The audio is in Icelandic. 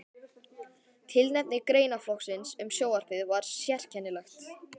Tilefni greinaflokksins um sjónvarpið var sérkennilegt.